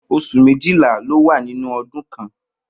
Os̩ù méjìlá ló wà nínú o̩dún kan